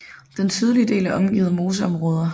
Den sydlige del er omgivet af moseområder